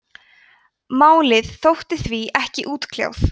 málið þótti því ekki útkljáð